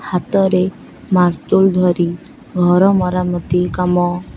ହାତରେ ମାର୍ତୁଲ ଧରି ଘର ମରାମତି କାମ --